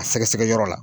A sɛgɛsɛgɛyɔrɔ la